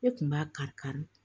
Ne kun b'a kari kari